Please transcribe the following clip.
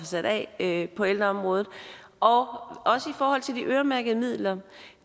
sat af på ældreområdet og og også i forhold til de øremærkede midler